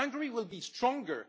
Hungary will be stronger.